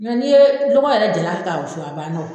n'i ye lɔgɔ yɛrɛ jalan kɛ k'a wusu a banna wo.